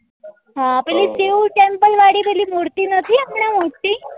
હા પેલી શિવ temple વાળી પેલી મૂર્તિ નથી હમણાં મોટી